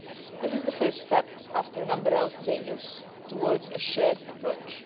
This is the first step, after a number of failures, towards a shared approach.